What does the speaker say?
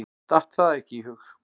Datt það ekki í hug.